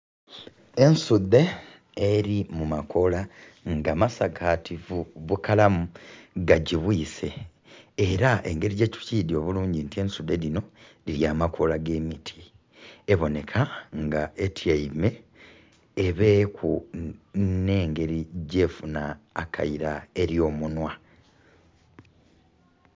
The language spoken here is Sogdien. Ensuude eri mumakoola nga masakatifu bukalamu gajibwise Era ngeri bwetukyidi obulungi nga ensuude dino dirya amakoola gemiti eboneka nga etiame ebeeku nengeri gyefuna akaira eri omunwa